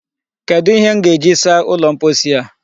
Kedụ ihe m ga-eji saa ụlọ mposi a?